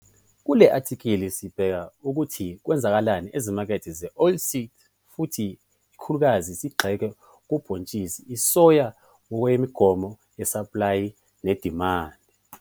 KULE ATHIKHILI SIBHEKA UKUTHI KWENZEKANI EZIMAKETHE ZE-OILSEED FUTHI IKAKHULUKAZI SIGXILE KUBHONTSHISI ISOYA NGOKWEMIGOMO YESAPLAYI NEDIMANDI.